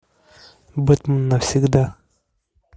бэтмен навсегда